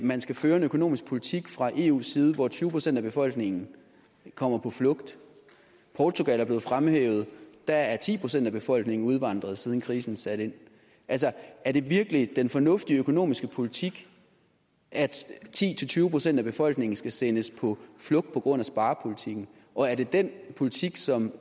man skal føre en økonomisk politik fra eus side hvor tyve procent af befolkningen kommer på flugt portugal er blevet fremhævet der er ti procent af befolkningen udvandret siden krisen satte ind altså er det virkelig den fornuftige økonomiske politik at ti til tyve procent af befolkningen skal sendes på flugt på grund af sparepolitikken og er det den politik som